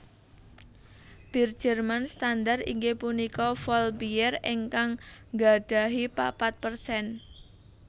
Bir Jerman standar inggih punika Vollbier ingkang nggadahi papat persen